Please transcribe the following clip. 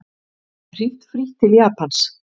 Hringt frítt til Japans